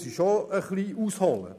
Dazu muss ich etwas ausholen.